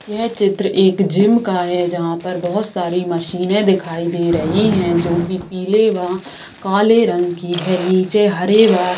यह चित्र एक जिम का है जहाँ पर बहुत सारी मशीने दिखाई दे रही हैं जो पिले वा काले रंग की है नीचे हरे वा --